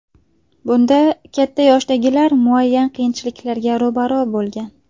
Bunda katta yoshdagilar muayyan qiyinchiliklarga ro‘baro‘ bo‘lgan.